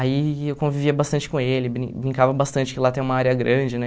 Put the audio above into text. Aí eu convivia bastante com ele, brin brincava bastante, que lá tem uma área grande, né?